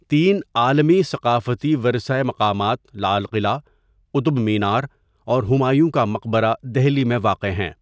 تین عالمی ثقافتی ورثہ مقامات لال قلعہ، قطب مینار اور ہمایوں کا مقبرہ دہلی میں واقع ہیں.